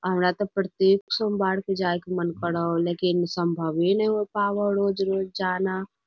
हमरा ते प्रतेक सोमबार के जाए के मन करो हो लेकिन सम्भवे नाय हो पावो हो रोज-रोज जाना।